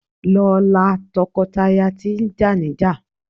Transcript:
Lọ la tọkọtaya tí jà níjà!